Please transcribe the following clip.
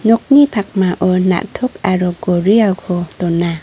nokni pakmao na·tok aro gorialko dona.